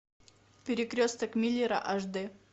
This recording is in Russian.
перекресток миллера аш д